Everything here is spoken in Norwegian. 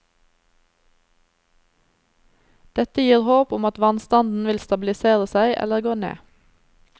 Dette gir håp om at vannstanden vil stabilisere seg eller gå ned.